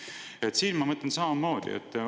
Siinse mõtlen ma samamoodi.